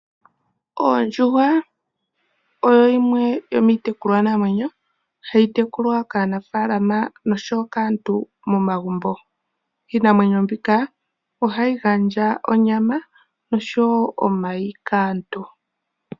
Oondjuhwa oyo yimwe yomiitekulwa namwenyo hayi tekulwa kaanafaalama noshowo kaantu momagumbo. Iinamwenyo mbika ohayi gandja onyama nosho wo omayi kaantu.